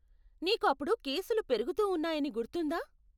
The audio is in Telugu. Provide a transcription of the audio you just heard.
నీకు అప్పుడు కేసులు పెరుగుతూ ఉన్నాయని గుర్తుందా?